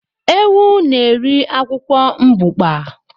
Ewu na-eri akwụkwọ mbukpa